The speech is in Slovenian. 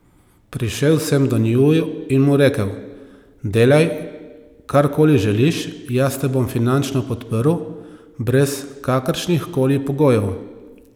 Prišel sem do njiju in mu rekel: "Delaj, kar koli želiš, jaz te bom finančno podprl brez kakršnih koli pogojev".